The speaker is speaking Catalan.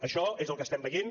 això és el que estem veient